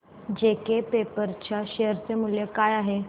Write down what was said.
JK paper च्या share चे मूल्य काय आहे